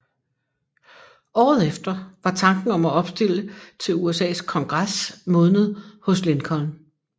Året efter var tanken om at opstille til USAs Kongres modnet hos Lincoln